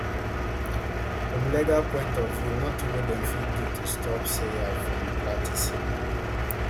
from legal point of view notin wey dem fit do to stop sawyer from practising